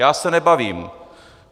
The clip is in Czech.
Já se nebavím!